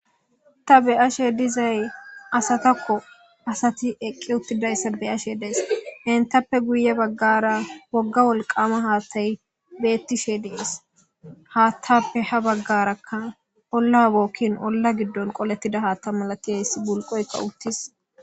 Ta be ashe dizay asatakko asati eqqi uttidayssa beyashe dees hentappe guye baggara wogga wolqama haattayi beettishe dies; haattappe ha baggarakka olla bookkin olla giddon qolettida haatta malatiheyssi bulqoyka uttis.